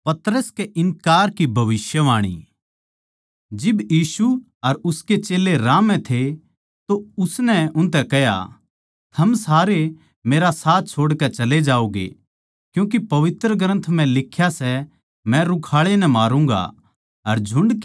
जिब यीशु अर उसके चेल्लें राह म्ह थे तो उसनै उनतै कह्या थम सारे मेरा साथ छोड़कै चले जाओगे क्यूँके पवित्र ग्रन्थ म्ह लिख्या सै मै रुखाळे नै मारूँगा अर झुण्ड की सारी भेड़ तित्तरबित्तर हो जावैगी